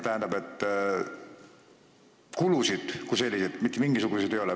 Kulusid kui selliseid mitte mingisuguseid ei ole.